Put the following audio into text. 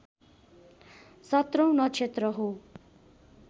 सत्रौँ नक्षत्र हो